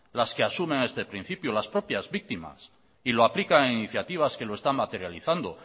las que asumen este principio las propias víctimas y lo aplican en iniciativas que lo están materializando